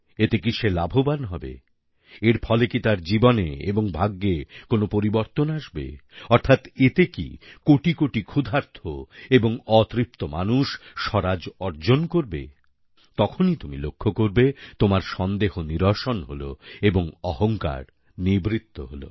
এতে কি সে লাভবান হবে এর ফলে কি তার জীবনে এবং ভাগ্যে কোনও পরিবর্তন আসবেঅর্থাৎ এতে কি কোটি কোটি ক্ষুধার্ত এবং অতৃপ্ত মানুষ স্বরাজ অর্জন করবে তখনই তুমি লক্ষ্য করবে তোমার সন্দেহ নিরসন হল এবং অহংকার নিবৃত্ত হল